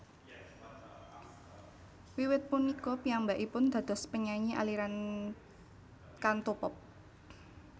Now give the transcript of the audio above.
Wiwit punika piyambakipun dados penyanyi aliran Cantopop